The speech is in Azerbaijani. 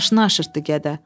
Maşını aşırtdı qədər.